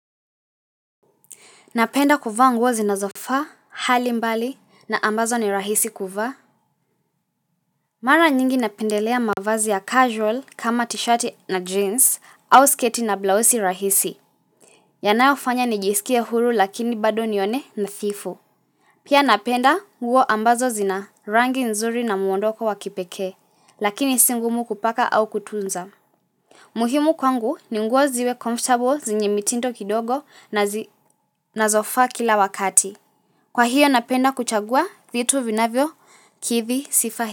Napenda kuvaa nguo zinazofaa, hali mbali na ambazo ni rahisi kuvaa. Mara nyingi napendelea mavazi ya casual kama tishati na jeans au sketi na blausi rahisi. Yanayofanya nijisikie huru lakini bado nione ni hafifu. Pia napenda nguo ambazo zina rangi nzuri na mwondoko wa kipekee lakini si ngumu kupaka au kutunza. Muhimu kwangu ni nguo ziwe comfortable zenye mitindo kidogo na zinazofaa kila wakati. Kwa hiyo napenda kuchagua vitu vinavyokidhi sifa hii.